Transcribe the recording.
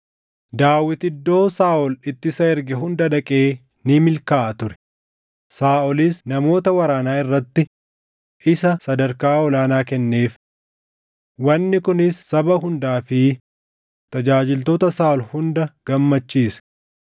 Daawit iddoo Saaʼol itti isa erge hunda dhaqee ni milkaaʼa ture. Saaʼolis namoota waraanaa irratti isa sadarkaa ol aanaa kenneef. Wanni kunis saba hundaa fi tajaajiltoota Saaʼol hunda gammachiise.